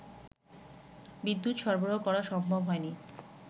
বিদ্যুৎ সরবরাহ করা সম্ভব হয়নি